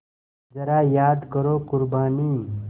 ज़रा याद करो क़ुरबानी